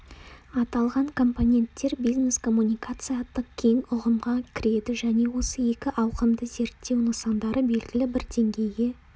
аталған компоненттер бизнес-коммуникация атты кең ұғымға кіреді және осы екі ауқымды зерттеу нысандары белгілі бір деңгейге